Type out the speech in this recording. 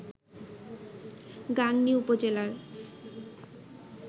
গাংনী উপজেলার